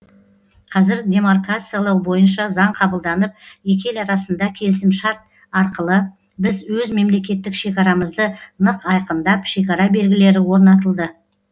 қазір демаркациялау бойынша заң қабылданып екі ел арасында келісімшарт арқылы біз өз мемлекеттік шекарамызды нық айқындап шекара белгілері орнатылды